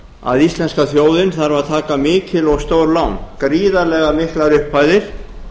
að íslenska þjóðin þarf að taka mikil og stór lán gríðarlega miklar upphæðir